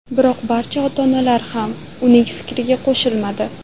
Biroq barcha ota-onalar ham uning fikriga qo‘shilmadi.